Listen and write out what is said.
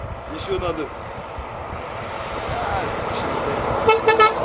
ещё надо аа тысячу рублей